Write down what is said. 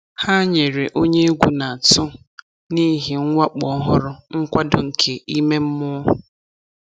Ha nyere onye egwu na-atụ n'ihi mwakpo ọhụrụ nkwado nke ime mmụọ.